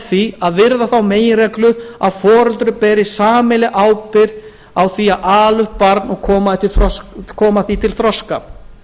því að virða þá meginreglu að foreldrar beri sameiginlega ábyrgð á að ala upp barn og koma því til þroska